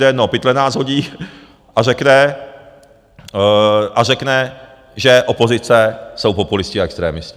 do jednoho pytle nás hodí a řekne, že opozice jsou populisté a extremisté .